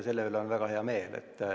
Selle üle on meil väga hea meel.